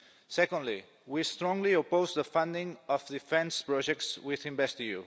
Secondly, we strongly oppose the funding of defence projects with InvestEU.